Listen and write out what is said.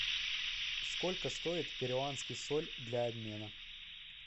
сколько стоит перуанский соль для обмена